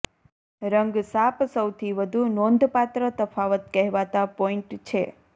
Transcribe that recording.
રંગ સાપ સૌથી વધુ નોંધપાત્ર તફાવત કહેવાતા પોઇન્ટ છે